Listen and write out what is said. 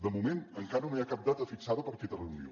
de moment encara no hi ha cap data fixada per aquesta reunió